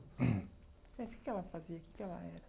Mas que que ela fazia, que que ela era?